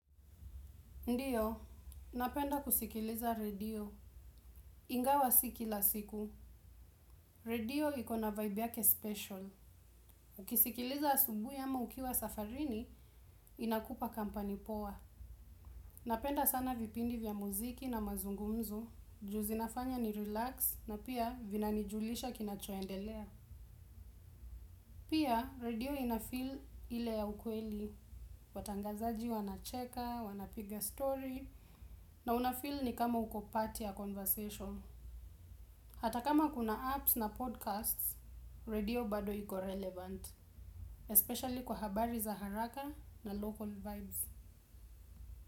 Ndiyo, napenda kusikiliza radio. Ingawa sikila siku. Radio iko na vibe yake special. Ukisikiliza asubui ama ukiwa safarini inakupa company poa. Napenda sana vipindi vya muziki na mazungumzu. Juu zinafanya ni relax na pia vina nijulisha kinacho endelea. Pia radio ina feel ile ya ukweli. Watangazaji wana cheka, wana piga story. Na unafeel ni kama uko part ya conversation. Ata kama kuna casts na podcasts radio bado iko relevant Espesially kwa habari za haraka na local vibes.